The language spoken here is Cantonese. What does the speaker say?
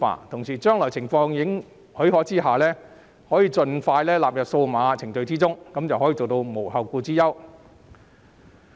同時，在將來情況許可的情況下，可以盡快納入數碼程序中，做到無後顧之憂。